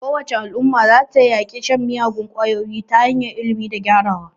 Kowace Al'umma za ta yaƙi shan miyagun kwayoyi ta hanyar ilimi da gyarawa.